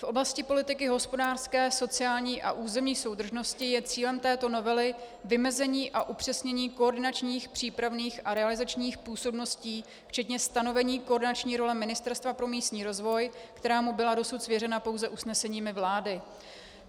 V oblasti politiky hospodářské, sociální a územní soudržnosti je cílem této novely vymezení a upřesnění koordinačních, přípravných a realizačních působností včetně stanovení koordinační role Ministerstva pro místní rozvoj, která mu byla dosud svěřena pouze usneseními vlády.